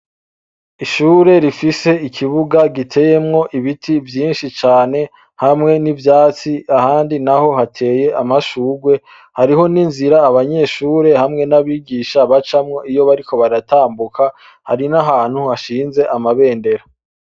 Ishure rifise ikibuga giteyemwo ibiti vyinshi cane hamwe n'ivyatsi ahandi naho hateye amashurwe. Hariho n'inzira abanyeshure hamwe n'abigisha bacamo iyo bariko baratambuka, hari n'ahantu hashinze amabendera.